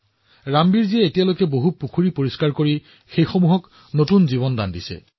ৰামবীৰজীয়ে এতিয়ালৈকে বহুতো পুখুৰী পৰিষ্কাৰ আৰু পুনৰুজ্জীৱিত কৰিছে